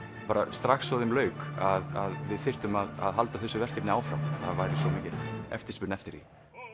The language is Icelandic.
strax og þeim lauk að við þyrftum að halda þessu verkefni áfram það væri svo mikil eftirspurn eftir því